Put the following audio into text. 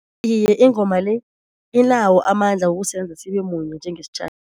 Iye ingoma le inawo amandla wokusenza sibe munye njengesitjhaba.